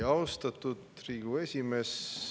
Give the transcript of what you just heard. Austatud Riigikogu esimees!